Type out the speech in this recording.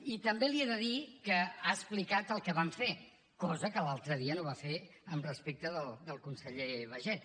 i també li he de dir que ha explicat el que van fer cosa que l’altre dia no va fer respecte del conseller baiget